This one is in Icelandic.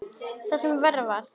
Og það sem verra var.